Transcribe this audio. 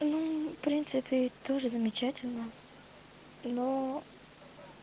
в принципе тоже замечательно но